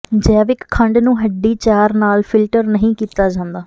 ਜੈਵਿਕ ਖੰਡ ਨੂੰ ਹੱਡੀ ਚਾਰ ਨਾਲ ਫਿਲਟਰ ਨਹੀਂ ਕੀਤਾ ਜਾਂਦਾ